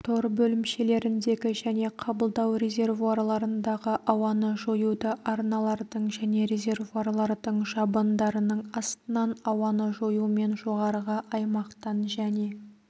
тор бөлімшелеріндегі және қабылдау резервуарларындағы ауаны жоюды арналардың және резервуарлардың жабындарының астынан ауаны жоюмен жоғарғы аймақтан және